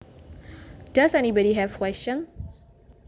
Does anybody have questions